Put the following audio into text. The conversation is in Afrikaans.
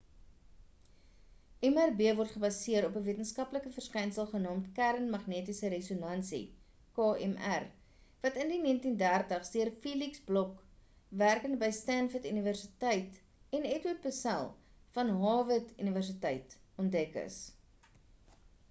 mrb word gebaseer op ‘n wetenskaplike verskynsel genaamd kern magnetiese resonansie kmr wat in die 1930s deur felix bloch werkend by stanford universiteit en edward purcell van harvard universiteit ontdek is